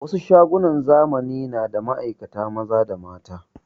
Wasu shagunan zamani na da ma'aikata maza da mata